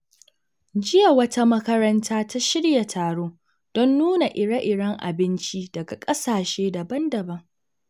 Jiya, wata makaranta ta shirya taro don nuna ire-iren abinci daga kasashe daban-daban.